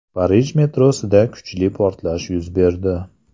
Parij metrosida kuchli portlash yuz berdi.